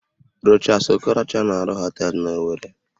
Rochas Okorocha na-arụ họteelụ n'Owerri